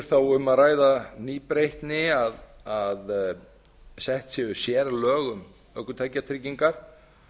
er um að ræða þá nýbreytni að sett eru sérlög um ökutækjatryggingar